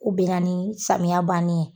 U bɛnna ni samiya bannen ye.